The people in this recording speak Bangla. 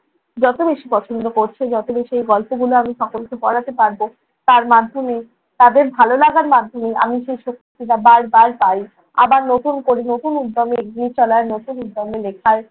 যত বেশি পছন্দ করছে যত বেশি গল্পগুলো আমি সকলকে পড়াতে পারবো তার মাধ্যমে তাদের ভালো লাগার মাধ্যমে আমি সেই শক্তিটা বার বার পাই। আবার নতুন করে নতুন উদ্যমে নতুন উদ্যমে লিখার